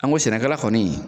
An ko sɛnɛkɛla kɔni